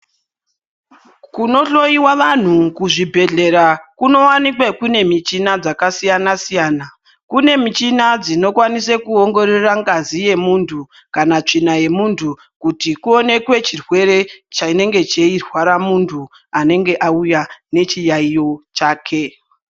Kunohloyiwa vantu kuzvibhedhlera kunowanikwa kune muchina yakasiyana siyana kune michini dzinokwaniswa kuongorora ngazi yemuntu kana tsvina yemuntu kuti kuonekwe chirwere chinenge cheirwara muntu anenge auya nechirwere chake.